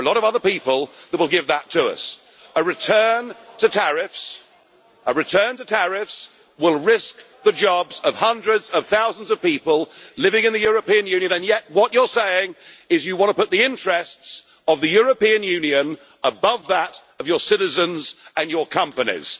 There are a lot of other people that will give that to us. A return to tariffs will risk the jobs of hundreds of thousands of people living in the European Union, and yet what you are saying is you want to put the interests of the European Union above that of your citizens and your companies.